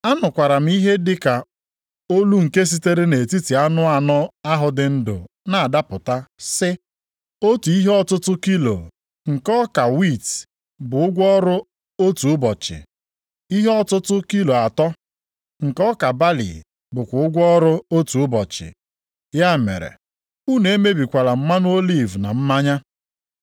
Anụkwara m ihe dị ka olu nke sitere nʼetiti anụ anọ ahụ dị ndụ na-adapụta sị, “Otu ihe ọtụtụ kilo + 6:6 Ihe ọtụtụ nta dị otu kilo nke ọka wiiti bụ ụgwọ ọrụ otu ụbọchị, + 6:6 Ya bụ, otu denarị ihe ọtụtụ kilo atọ + 6:6 Ihe ọtụtụ dị kilo atọ nke ọka balị bụkwa ụgwọ ọrụ otu ụbọchị. Ya mere, unu emebikwala mmanụ oliv na mmanya.”